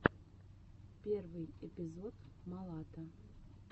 первый эпизод малата